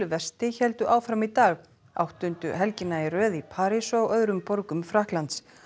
vesti héldu áfram í dag áttundu helgina í röð í París og öðrum borgum Frakklands